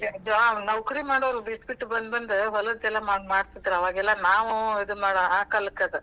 ಜೋ ನೌಕರಿ ಮಾಡೋರ್ ಬಿಟ್ಟ ಬಿಟ್ಟ ಬಂದ್ ಬಂದ್ ಹೊಲಕ್ಕೆಲ್ಲಾ ಮಾಡ್~ ಮಾಡ್ತಿದ್ರ್ ಅವಾಗೆಲ್ಲ ನಾವೂ ಇದ್ ಮಾಡೋ ಆ ಕಾಲಕ್ಕದ್.